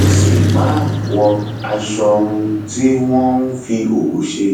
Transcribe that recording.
ẹ sì máa wọ aṣọ um tí wọn um fi òwú ṣe